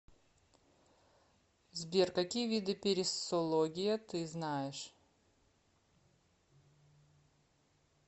сбер какие виды периссология ты знаешь